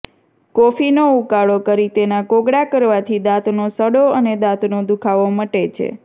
કોફીનો ઉકાળો કરી તેના કોગળા કરવાથી દાંતનો સડો અને દાંતનો દુઃખાવો મટે છે